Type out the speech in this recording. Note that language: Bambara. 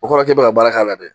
O kɔrɔ k'e bɛ ka baara k'a la dɛ.